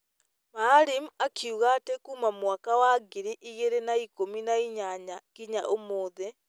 Maalim akiuga atĩ kuuma mwaka wa ngiri igĩrĩ na ikũmi nĩ inyanya kinya ũmũthĩ,